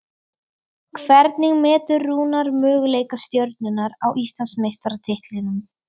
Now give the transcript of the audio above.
Hvernig metur Rúnar möguleika Stjörnunnar á Íslandsmeistaratitlinum?